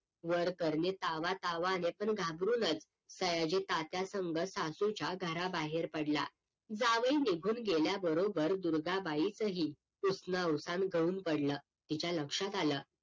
वर करणे तावा तावाने पण घाबरूनच सयाजी तात्या संग सासूच्या घरा बाहेर पडला जावई निघून गेल्या बरोबर दुर्गाबाईचं ही उसनं अवसान गळून पडलं तिच्या लक्षात आलं